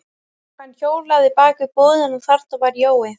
Hann hjólaði bak við búðina og þarna var Jói.